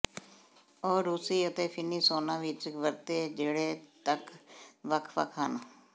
ਉਹ ਰੂਸੀ ਅਤੇ ਫਿਨੀ ਸੌਨਾ ਵਿੱਚ ਵਰਤੇ ਜਿਹੜੇ ਤੱਕ ਵੱਖ ਵੱਖ ਹਨ